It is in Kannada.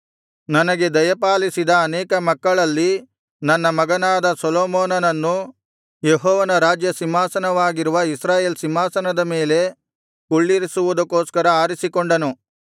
ನನಗೆ ದಯಪಾಲಿಸಿದ ಅನೇಕ ಮಕ್ಕಳಲ್ಲಿ ನನ್ನ ಮಗನಾದ ಸೊಲೊಮೋನನನ್ನು ಯೆಹೋವನ ರಾಜ್ಯ ಸಿಂಹಾಸನವಾಗಿರುವ ಇಸ್ರಾಯೇಲ್ ಸಿಂಹಾಸನದ ಮೇಲೆ ಕುಳ್ಳಿರಿಸುವುದಕ್ಕೋಸ್ಕರ ಆರಿಸಿಕೊಂಡನು